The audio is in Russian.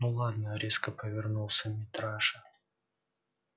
ну ладно резко повернулся митраша